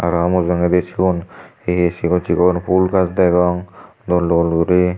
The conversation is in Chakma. aro mujongodi siyun hi hi sigon sigon pul gach degong dol dol guri.